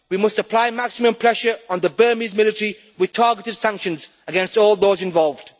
We must apply maximum pressure on the Burmese military with targeted sanctions against all those involved.